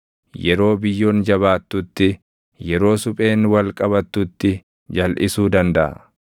yeroo biyyoon jabaattutti, yeroo supheen wal qabattutti jalʼisuu dandaʼa?